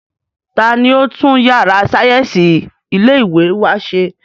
Ta ni ó tún yàrá sáyẹ́ǹsì ilé ìwé wa ṣe?